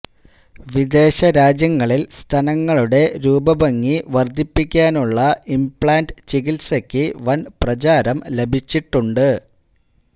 വിദേശ രാജ്യങ്ങളിൽ സ്തനങ്ങളുടെ രൂപഭംഗി വർദ്ധിപ്പിക്കാനുള്ള ഇംപ്ലാന്റ് ചികിത്സക്ക് വൻ പ്രചാരം ലഭിച്ചിട്ടുണ്ട്